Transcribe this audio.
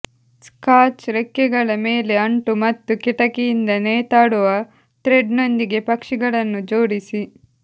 scotch ರೆಕ್ಕೆಗಳ ಮೇಲೆ ಅಂಟು ಮತ್ತು ಕಿಟಕಿಯಿಂದ ನೇತಾಡುವ ಥ್ರೆಡ್ನೊಂದಿಗೆ ಪಕ್ಷಿಗಳನ್ನು ಜೋಡಿಸಿ